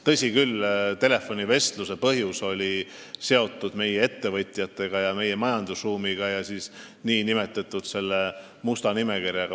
Tõsi küll, telefonivestluse põhjus oli seotud meie ettevõtjate ja meie majandusruumiga ning nn musta nimekirjaga.